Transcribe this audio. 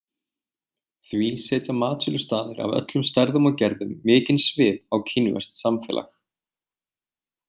Því setja matsölustaðir af öllum stærðum og gerðum mikinn svip á kínverskt samfélag.